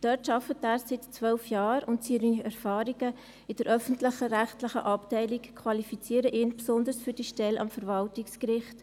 Dort arbeitet er seit zwölf Jahren, und seine Erfahrungen in der öffentlich-rechtlichen Abteilung qualifizieren ihn besonders für die Stelle am Verwaltungsgericht.